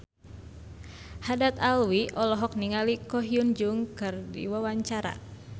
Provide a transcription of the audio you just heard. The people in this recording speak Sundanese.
Haddad Alwi olohok ningali Ko Hyun Jung keur diwawancara